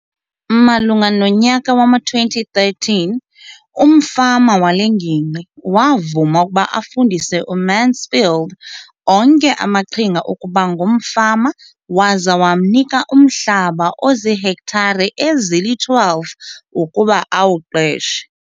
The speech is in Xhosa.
Malunga nonyaka wama-2013, umfama wale ngingqi wavuma ukuba afundise uMansfield onke amaqhinga okuba ngumfama waza wamnika umhlaba ozihektare ezili-12 ukuba awuqeshe.